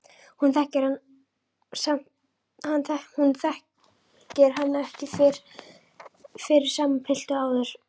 Hún þekkir hann ekki fyrir sama pilt og áður.